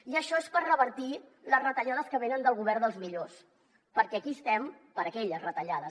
i això és per revertir les retallades que venen del govern dels millors perquè aquí estem per aquelles retallades